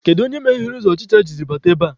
Kedu onye meghere ụzọ ọchịcha ji bata ebea?